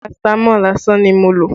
Paratamọ́ọ̀ lásán ni mo lò